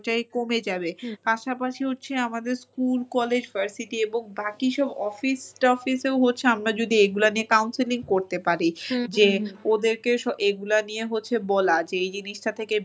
ওটাই কমে যাবে। পাশাপাশি হচ্ছে আমাদের স্কুল, কলেজ, varsity এবং বাকি সব office টফিস এও হচ্ছে আমরা যদি এইগুলা নিয়ে counselling করতে পারি। যে ওদেরকে এগুলা নিয়ে হচ্ছে বলা যে এই জিনিসটা থেকে